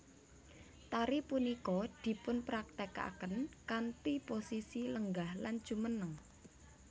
Tari punika dipunpraktékaken kanthi posisi lenggah lan jumeneng